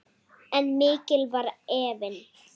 En mikill var efinn.